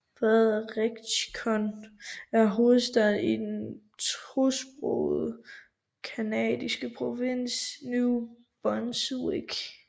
Fredericton er hovedstaden i den tosprogede canadiske provins New Brunswick